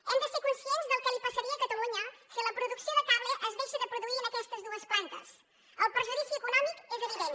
hem de ser conscients del que li passaria a catalunya si la producció de cable es deixa de produir en aquestes dues plantes el perjudici econòmic és evident